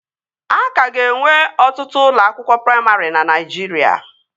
Aka ga-enwe ọtụtụ ụlọ akwụkwọ praimarị na Naijiria